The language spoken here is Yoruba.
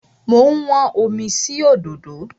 Mo ń wọ́n omi sí òdòdó.